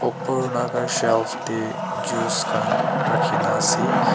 upor laga shelf teh juice khan rakhi na ase.